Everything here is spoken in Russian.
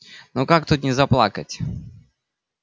ну как тут не заплакать